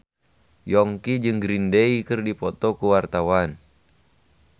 Yongki jeung Green Day keur dipoto ku wartawan